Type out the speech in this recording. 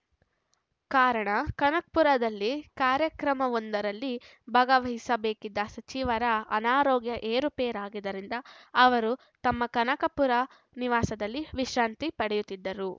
ಕಾರಣ ಕನಕಪುರದಲ್ಲಿ ಕಾರ್ಯಕ್ರಮವೊಂದರಲ್ಲಿ ಭಗವಹಿಸಬೇಕಿದ್ದ ಸಚಿವರ ಅನಾರೋಗ್ಯ ಏರುಪೇರಾಗಿದ್ದರಿಂದ ಅವರು ತಮ್ಮ ಕನಕಪುರ ನಿವಾಸದಲ್ಲಿ ವಿಶ್ರಾಂತಿ ಪಡೆದಿದ್ದರು